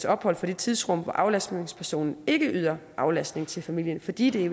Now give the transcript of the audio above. ophold for det tidsrum hvor aflastningspersonen ikke yder aflastning til familien fordi det